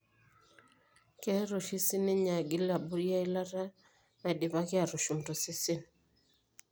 Keret oshi siininye agil abori eilata naidipaki aatushum tosesen.